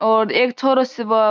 और एक छोरो से --